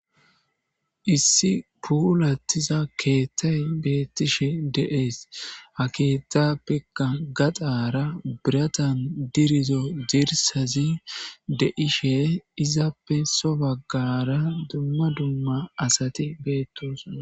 issi puhulattiza keethtay beettishe deees ha keettappea gaxaara biratan dirizo diirsazi de'ishe izappe sobagara dumma dumma asati beettos